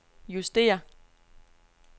justér